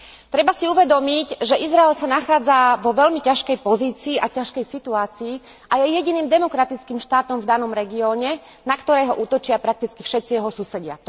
Treba si uvedomiť, že Izrael sa nachádza vo veľmi ťažkej pozícii a ťažkej situácii a je jediným demokratickým štátom v danom regióne, na ktorý útočia prakticky všetci jeho susedia.